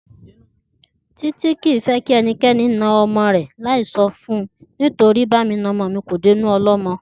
Títí kì í fẹ́ kẹnikẹ́ni na ọmọ rẹ̀ láì sọ fun torí pé bá mi nọmọ mi kò dénú ọlọ́mọ